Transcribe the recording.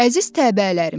“Əziz təbəələrim!